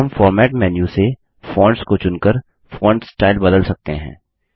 हम format menu से fonts को चुनकर फोंट स्टाइल बदल सकते हैं